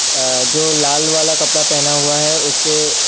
अ जो लाल वाला कपड़ा पहना हुआ है उसके--